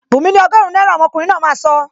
Bunmi ni ọgọrun náírà,! Omokunrin náà máa sọ